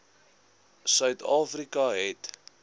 suid afrika het